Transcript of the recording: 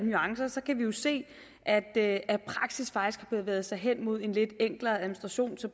nuancer kan vi jo se at at praksis faktisk har bevæget sig hen mod en lidt enklere administration så